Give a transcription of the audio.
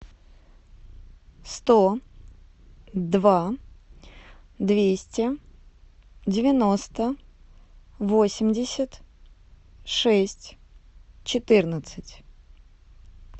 сто два двести девяносто восемьдесят шесть четырнадцать